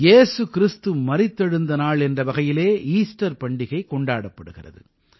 ஏசு கிறிஸ்து மரித்தெழுந்த நாள் என்ற வகையிலே ஈஸ்டர் பண்டிகை கொண்டாடப்படுகிறது